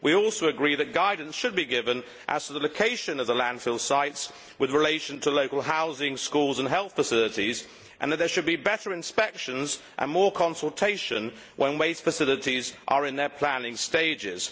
We also agree that guidance should be given as to the location of the landfill sites with relation to local housing, schools and health facilities and that there should be better inspections and more consultation when waste facilities are in their planning stages.